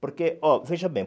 Porque, ó, veja bem.